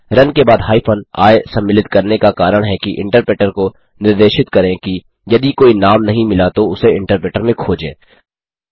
run के बाद hyphen I सम्मिलित करने का कारण है कि इन्टरप्रेटर को निर्देशित करें कि यदि कोई नाम नहीं मिला तो उसे इन्टरप्रेटर में खोजें